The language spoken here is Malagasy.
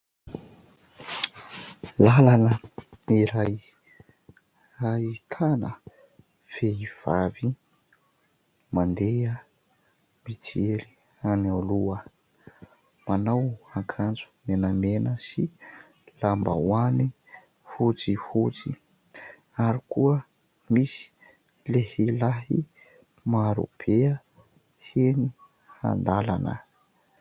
Lalana iray ahitana vehivavy mandeha mijery any aloha manao akanjo menamena sy lambahoany fotsifotsy ary koa misy lehilahy maro be enỳ an-dalana.